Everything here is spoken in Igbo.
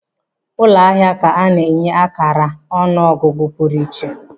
Ụlọ ahịa ka ana enye karị akara ọnụ ọgụgụ pụrụ iche.